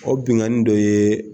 O binkanni dɔ ye